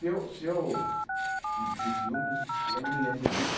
Se eu se eu senti ciúmes, eu não me lembro disso.